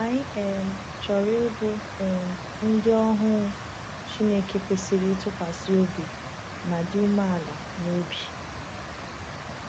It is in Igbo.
Anyị um chọrọ ịbụ um ndị ohu Chineke kwesịrị ntụkwasị obi ma dị umeala n’obi.